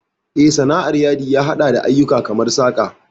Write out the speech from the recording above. Eh, Sana'ar Yadi ya haɗa da ayyuka kamar saƙa.